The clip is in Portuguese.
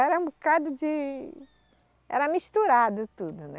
Era um bocado de... Era misturado tudo, né?